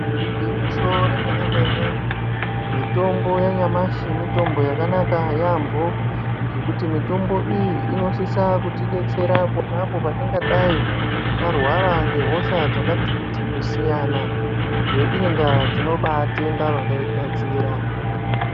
Igwinyiso remene-mene , mitombo yanyamashi mitombo yakanaka yaambho ,ngokuti mitombo iyi inosise kutidetsera ponapo patingadai tarwara ngehosha dzakati kuti kusiyana. Ngeiyi ndaa tinobaitenda vakaigadzira.